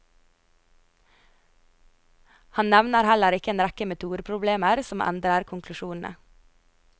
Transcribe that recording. Han nevner heller ikke en rekke metodeproblemer som endrer konklusjonene.